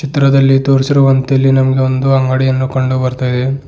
ಚಿತ್ರದಲ್ಲಿ ತೋರಿಸಿರುವಂತೆ ಇಲ್ಲಿ ನಮಗೆ ಒಂದು ಅಂಗಡಿಯನ್ನು ಕಂಡು ಬರ್ತಾ ಇದೆ.